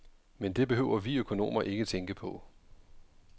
Men det behøver vi økonomer ikke tænke på.